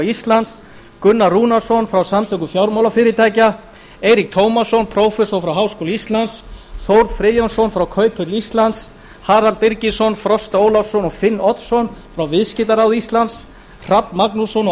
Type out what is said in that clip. íslands guðjón rúnarsson frá samtökum fjármálafyrirtækja eirík tómasson prófessor frá háskóla íslands þórð friðjónsson frá kauphöll íslands harald birgisson frosta ólafsson og finn oddsson frá viðskiptaráði íslands hrafn magnússon og